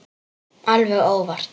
Alveg óvart.